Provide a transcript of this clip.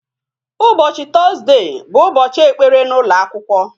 Ụbọchị Tọzdee bụ Ụbọchị ekpere n'ụlọ akwụkwọ